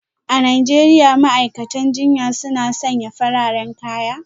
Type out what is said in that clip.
A Najeriya ma'aikatan jinya suna sanya fararen kaya